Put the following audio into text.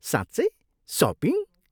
साँच्चै? सपिङ?